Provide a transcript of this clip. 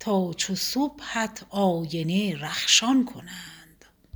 تا چو صبحت آینه رخشان کنند